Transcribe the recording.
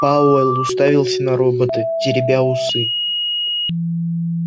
пауэлл уставился на робота теребя усы